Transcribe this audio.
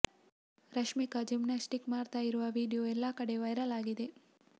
Rashmika gymnastic ಮಾಡ್ತಾ ಇರುವ video ಎಲ್ಲಾ ಕಡೆ ವೈರಲ್ ಆಗಿದೆ